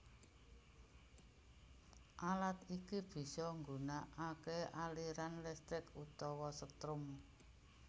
Alat iki bisa nggunakaké aliran listrik utawa setrum